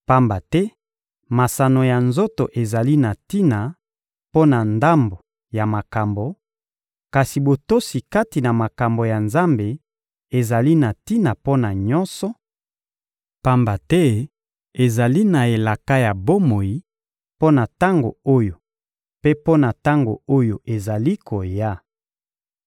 pamba te masano ya nzoto ezali na tina mpo na ndambo ya makambo, kasi botosi kati na makambo ya Nzambe ezali na tina mpo na nyonso, pamba te ezali na elaka ya bomoi mpo na tango oyo mpe mpo na tango oyo ezali koya.